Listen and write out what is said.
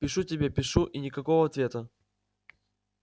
пишу тебе пишу и никакого ответа